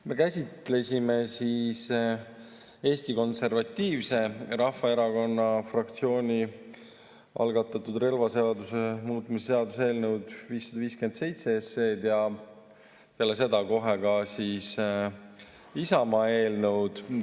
Me käsitlesime Eesti Konservatiivse Rahvaerakonna fraktsiooni algatatud relvaseaduse muutmise seaduse eelnõu 557 ja peale seda kohe ka Isamaa eelnõu.